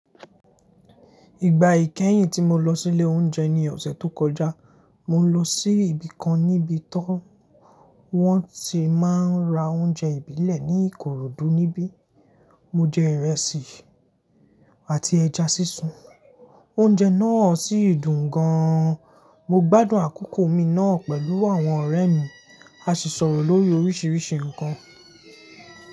Ìgbà ìkẹyìn tí mo lọ sí ilé oúnjẹ ní ọ̀sẹ̀ tó kọjá, mo lọ sí ibi kan níbi tó wọ́n ti máa ń ra oúnjẹ ìbílẹ̀ ní Ìkòròdú. Níbí, mo jẹ ìrẹsì àti ẹja sísun. Oúnjẹ náà sì dùn gan-an. Mo gbádùn àkókò mi náà pẹ̀lú àwọn ọ̀rẹ́ mi, a sì sọ̀rọ̀ lórí oríṣiríṣi nǹkan.